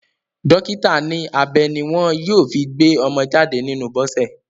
Dọ́kítà ní abẹ ní wọ́n yóò fi gbé ọmọ jáde nínú Bọ́sẹ̀.